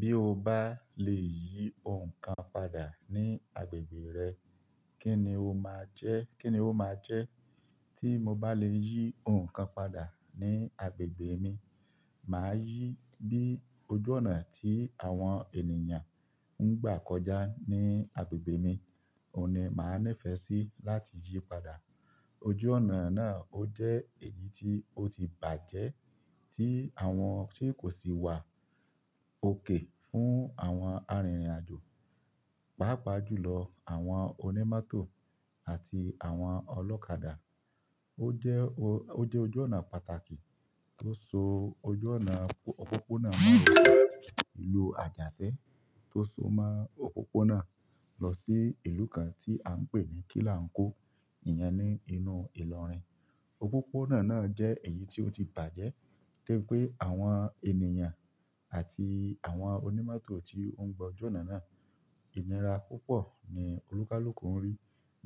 Bí o bá lè yí ohun kan padà ní agbègbè rẹ, kí ni o máa jẹ́? Kí ni o máa jẹ́ tí mo bá lè yí ohun kan padà ní agbègbè mi? Màá yí bí ojú ọ̀nà tí àwọn ènìyàn ń gbà kọjá ní agbègbè mi, òní máa nífẹ̀ẹ́ sí láti yí padà. Ojú ọ̀nà náà ó jẹ́ èyí tí ó ti bàjẹ́ tí àwọn tí kò sì wà òkè fún àwọn arìnrìn-àjò, pàápàá jùlọ àwọn onímọ́tò àti àwọn ọlọ́kadà. O jẹ́ ojú ọnà pàtàkì tó so ojú ọnà òpópónà ìlú Ajaṣẹ̀ to só mọ òpópónà lọsí ìlú kàn ti an pé ní Kilánkó. Ìyẹn ni inú ìlọrin. Òpópónà náà jẹ́ èyí tí ó ti bàjẹ́, de bi pe àwọn ènìyàn àti àwọn onímọ́tò tí ó ń gba ojú ọ̀nà náà. Ìnira púpọ̀ ni olúkúlùkù ń rí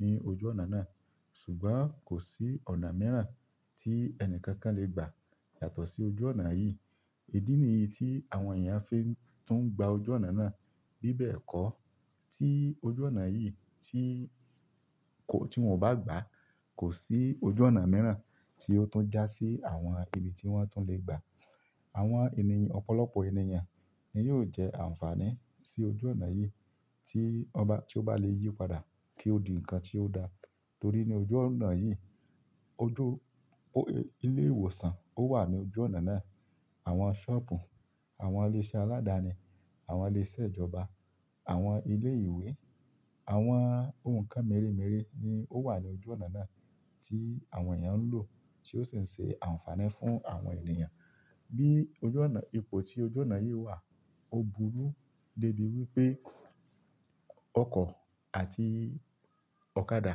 ní ojú ọ̀nà náà, ṣùgbọ́n kò sí ọ̀nà mìíràn tí ẹni kankan lè gbà yàtọ̀ sí ojú ọ̀nà yìí. Èdí ni yí tí àwọn èèyàn á fi tún gba ojú ọ̀nà náà bíbẹ̀ kọ́ tí ojú ọ̀nà yìí tí kò, tí wọn ò bá gbà. Kò sí ojú ọ̀nà mìíràn tí ó tún já sí àwọn ibi tí wọ́n tún lè gbà. Àwọn ènìyàn, ọ̀pọ̀lọpọ̀ ènìyàn ni yóò jẹ àǹfààní sí ojú ọ̀nà yìí tí ọba, tí ó bá lè yí padà kí ó di ǹkan tí ó da. Torí ní ojú ọ̀nà yìí, ojú o-- ilé ìwòsàn ó wà ní ojú ọ̀nà náà. Àwọn ṣọ́ọ̀bù, àwọn ilé-iṣẹ́ aládani, àwọn ilé-iṣẹ́ ìjọba, àwọn ilé ìwé, àwọn ohun kan méremére ni ó wà ní ojú ọ̀nà náà tí àwọn èèyàn ń lò tí ó sì ń ṣe àǹfààní fún àwọn ènìyàn. Bí ojú ọ̀nà, ipò tí ojú ọ̀nà yìí wà, ó burú débi wípé ọkọ̀ àti ọ̀kadà,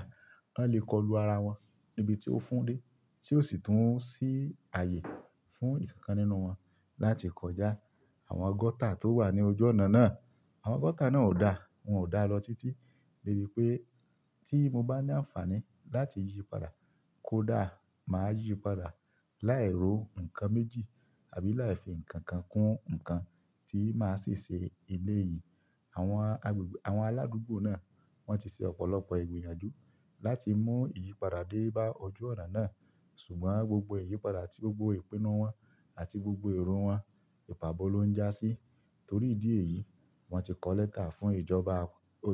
wọ́n lè kọlu ara wọn níbi tí ó fún dé tí ó sì tún sì ààyè fún ìkankan nínú wọn láti kọjá. Àwọn gọ́tà tó wà ní ojú ọ̀nà náà, àwọn gọ́tà náà ò da, wọn ò da lọ títí débi pé tí mo bá ní àǹfààní láti yí padà kó dà, màá yí padà láì ro ǹkan méjì àbí láì fi ǹkan kan kún ǹkan tí máa sì ṣe elé yìí. Àwọn agbègbè, àwọn aládùúgbò náà wọ́n ti ṣe ọ̀pọ̀lọpọ̀ ìgbèyànjú láti mú iyìpadà dé bá ojú ọ̀nà náà, ṣùgbọ́n gbogbo iyìpadà àti gbogbo ìpinnu wọn àti gbogbo èrò wọn, ìpàbọ́ ló ń já sí. Torí ìdí èyí, wọ́n ti kọ lẹ́tà fún ìjọba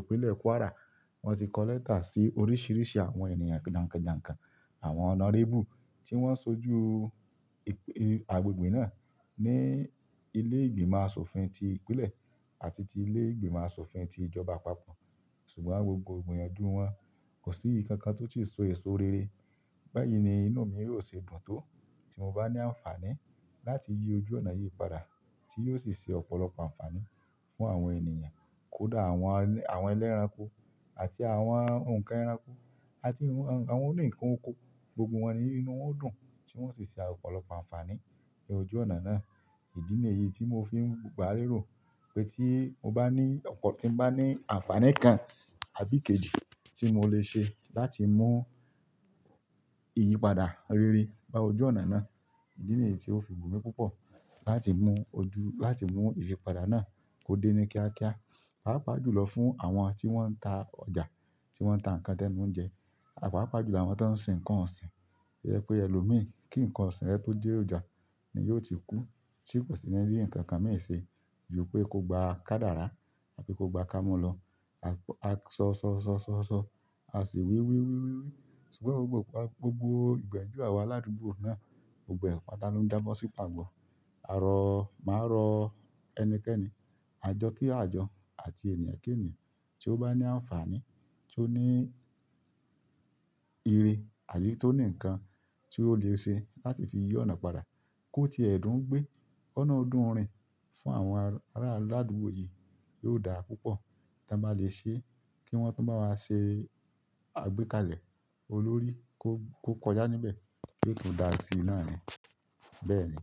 Ìpínlẹ̀ Kwara, wọ́n ti kọ lẹ́tà sí oríṣìíríṣìí àwọn ènìyàn jànkànjànkàn, àwọn honourable tí wọ́n sojú ìè agbègbè náà ní ilé ìgbìmọ̀ asòfin ti ìpínlẹ̀ àti ti ilé ìgbìmọ̀ asòfin ti ìjọba àpapọ̀, ṣùgbọ́n gbogbo ìgbiyànjú wọn kò sí ìkankan tó ti so èso rere. Báyìí ni inú mi yóò ṣe dùn tó tí mo bá ní àǹfààní láti yí ojú ọ̀nà yìí padà tí yóò sì ṣe ọ̀pọ̀lọpọ̀ àǹfààní fún àwọn ènìyàn kó dà àwọn ẹni, àwọn ẹlẹ́ranko àti àwọn ǹkan ẹranko àti àwọn oní ǹkan oko gbogbo wọn ni inú wọn ó dùn tí wọ́n sì ṣe ọ̀pọ̀lọpọ̀ àǹfààní ní ojú ọ̀nà náà. Èyí ni èyí tí mo fi ń gbà léró pé tí mo bá ní ọ̀pọ̀, tí mo bá ní àǹfààní kan àbí kejì tí mo lè ṣe láti mú iyìpadà rere bá ojú ọ̀nà náà. Èdí ni yí tí ó fi wù mí púpọ̀ láti mú ojú, láti mú iyìpadà náà kó dé ní kíákíá, pàápàá jùlọ fún àwọn tí wọ́n ń ta ọjà, tí wọ́n ń ta ǹkan tẹ́nu nú ń jẹ, paápàá jùlọ àwọn tó ń sin ǹkan ọ̀sìn. To jẹ pé ẹlòmíì, kí ǹkan ọ̀sìn rẹ tó dé ọjà ni yóò ti kú tí kò sì ní bí ǹkan kan mi se ju pé ko gba kádàrà àbí ko gba kámu lọ. A sọ, sọ, sọ, sọ, sọ, a sì wí, wí, wí, wí, wí ṣùgbọ́n gbogbo, gbogbo ìgbiyànjú àwa aládùúgbò náà, gbogbo ẹ̀ pata ló ń jábọ́ sí pàbo. A rọ, màá rọ ẹnikẹ́ni, àjọ kí a jọ àti ènìyàn kí ènìyàn tí ó bá ní àǹfààní, tí ó ní ire àbí tí ó ní ǹkan tí ó lè ṣe láti fi yí ọ̀nà padà kó ti ẹ̀ dùn ń gbé. Kọ̀nà o dún rin fún àwọn ará aládùúgbò yìí yóò da púpọ̀ tí wọn bá lè ṣe kí wọ́n tún bá wá ṣe àgbékalẹ̀ olórí kó, kó kọjá níbẹ̀ yí ó tún dà sí náà ni. Bẹ́ẹ̀ ni.